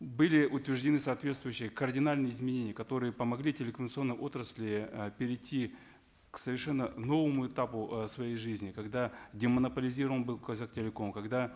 были утверждены соответствующие кардинальные изменения которые помогли телекоммуникационной отрасли э перейти к совершенно новому этапу э своей жизни когда демонополизирован был казахтелеком когда